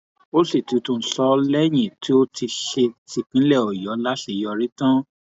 ó sì ti tún un sọ lẹyìn tó ti ṣe típínlẹ ọyọ láṣeyọrí tán